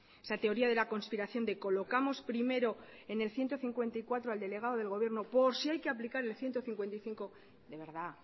esa teoría de la conspiración de colocamos primero en el ciento cincuenta y cuatro al delegado del gobierno por si hay que aplicar el ciento cincuenta y cinco de verdad